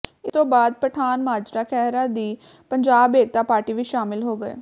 ਇਸ ਤੋਂ ਬਾਅਦ ਪਠਾਨਮਾਜਰਾ ਖਹਿਰਾ ਦੀ ਪੰਜਾਬ ਏਕਤਾ ਪਾਰਟੀ ਵਿਚ ਸ਼ਾਮਲ ਹੋ ਗਏ